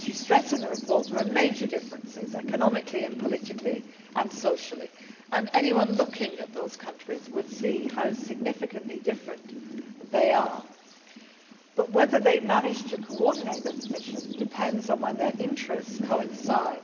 As you stressed, there are major differences economically, politically and socially and anyone looking at those countries would see how significantly different they are but whether they manage to coordinate their position depends on where their interests coincide.